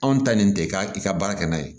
Anw ta nin tɛ ka i ka baara kɛ n'a ye